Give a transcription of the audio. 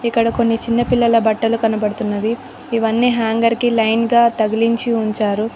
ఇక్కడ కొన్ని చిన్న పిల్లల బట్టలు కనబడుతున్నవి ఇవన్నీ హ్యాంగర్ కి లైన్ గా తగిలించి ఉంచారు.